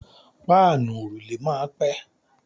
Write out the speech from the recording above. Páànù òrùlé máa pẹ́.